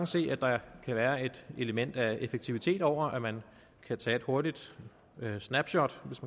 se at der kan være et element af effektivitet over at man kan tage et hurtigt snapshot